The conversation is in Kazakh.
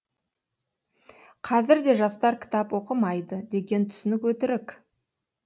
қазір де жастар кітап оқымайды деген түсінік өтірік